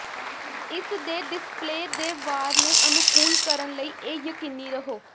ਇਸ ਦੇ ਡਿਸਪਲੇਅ ਦੇ ਵਾਰ ਨੂੰ ਅਨੁਕੂਲ ਕਰਨ ਲਈ ਇਹ ਯਕੀਨੀ ਰਹੋ